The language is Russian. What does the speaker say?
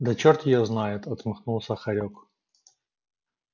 да черт её знает отмахнулся хорёк